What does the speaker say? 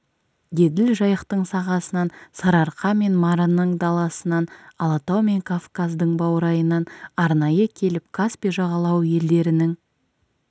еділ-жайықтың сағасынан сарыарқа мен марының даласынан алатау мен кавказдың баурайынан арнайы келіп каспий жағалауы елдерінің